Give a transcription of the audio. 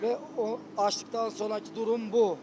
Və açdıqdan sonrakı durum bu.